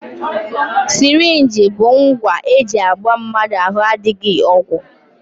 Sirinji bụ ngwa e ji agba mmadụ ahụ adịghị ọgwụ